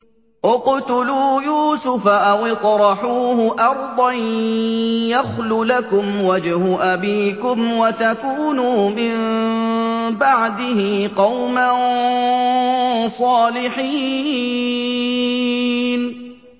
اقْتُلُوا يُوسُفَ أَوِ اطْرَحُوهُ أَرْضًا يَخْلُ لَكُمْ وَجْهُ أَبِيكُمْ وَتَكُونُوا مِن بَعْدِهِ قَوْمًا صَالِحِينَ